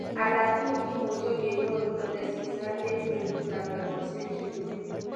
Alakini kimuche kenyorun ole sisat en kwenut ab egosiek chekimenye